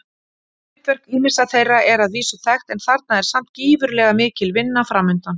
Hlutverk ýmissa þeirra er að vísu þekkt en þarna er samt gífurlega mikil vinna framundan.